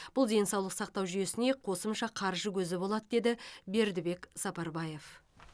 бұл денсаулық сақтау жүйесіне қосымша қаржы көзі болады деді бердібек сапарбаев